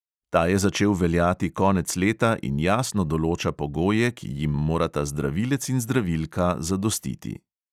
Ta je začel veljati konec leta in jasno določa pogoje, ki jim morata zdravilec in zdravilka zadostiti.